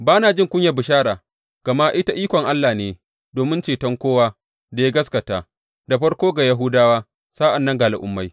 Ba na jin kunyar bishara, gama ita ikon Allah ne domin ceton kowa da ya gaskata, da farko ga Yahudawa, sa’an nan ga Al’ummai.